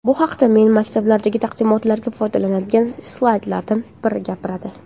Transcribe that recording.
Bu haqda men maktablardagi taqdimotlarda foydalanadigan slaydlardan biri gapiradi.